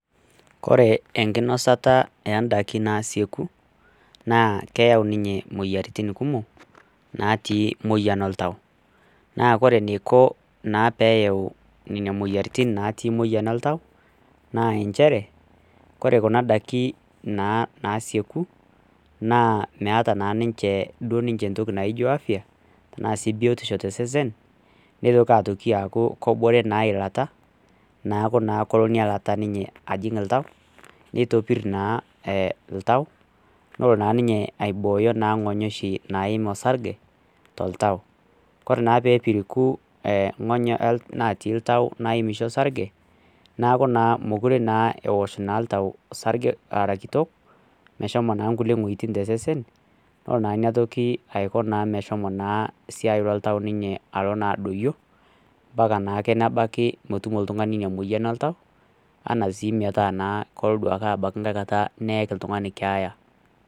Kore enkinosata oondaiki naasieku naa keyau imoyiaritin kumok naati moyian oltau naa ore eneiko peeyau imoyiaritin naati moyian oltau naa inchere kore kuna daiki naasieku naa meeta naa ninche entoki naijio aftya tosesen neitoki aaku kebore elata nelo naa inailata ajing oltau neitopir naa oltau ore naa ninye aibooyo naa ing'onyo oshi naiim orsarge toltau kore naa peepiriku ing'onyo naatii oltau naaim orsarge neeku naa mekure naa ewosh eng'ony sarge arakitok meshomo naa nkulie weuitin tesesen nelo naa ina toki aiko naa meshomo naa esiai oltau meshomo naa ninye alo naa adoyio mpaka naake nebaki metumo oltung'ani inamoyia oltau enaa sii metaa kelo abaiki neeki oltung'ani keeya.